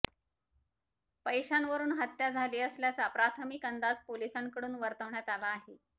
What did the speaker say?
पैशांवरून हत्या झाली असल्याचा प्राथमिक अंदाज पोलिसांकडून वर्तवण्यात आला आहे